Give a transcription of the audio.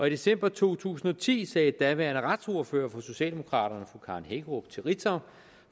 i december to tusind og ti sagde daværende retsordfører for socialdemokraterne fru karen hækkerup til ritzau